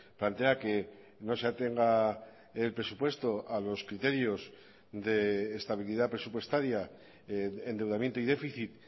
plantea que no se atenga el presupuesto a los criterios de estabilidad presupuestaria endeudamiento y déficit